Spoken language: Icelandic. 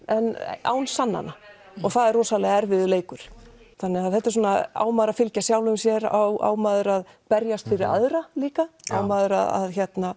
en án sannana og það er rosalega erfiður leikur þetta er svona á maður að fylgja sjálfum sér á maður að berjast fyrir aðra líka á maður að